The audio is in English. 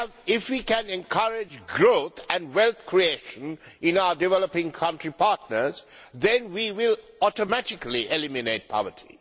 If we can encourage growth and wealth creation in our developing country partners, we will automatically eliminate poverty.